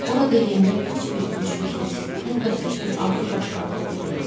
Orada yenidən heç bir güclü hiss, hətta heç bir arzu baş qaldıra bilməz.